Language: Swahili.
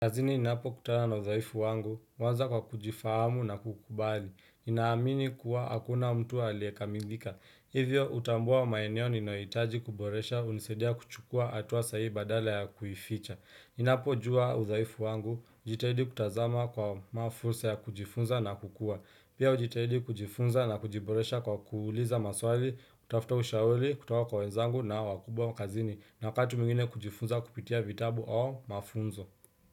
Kazini ninapokutana na udhaifu wangu, huanza kwa kujifahamu na kukubali. Ninaamini kuwa hakuna mtu aliye kamilika. Hivyo hutambua maeneo ninayohitaji kuboresha hunisaidia kuchukua hatua sahihi badala ya kuificha. Ninapojua udhaifu wangu, jitahidi kutazama kwa mafursa ya kujifunza na kukua. Pia hujitahidi kujifunza na kujiboresha kwa kuuliza maswali, kutafuta ushauri, kutoka kwa wenzangu na wakubwa kazini. Na wakati mwingine kujifunza kupitia vitabu au mafunzo.